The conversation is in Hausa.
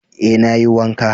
Eh nayi wanka